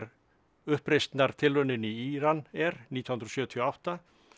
uppreisnartilraunin í Íran er nítján hundruð sjötíu og átta